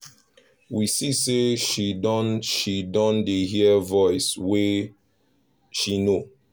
we see say she don she don dey hear voice wey she know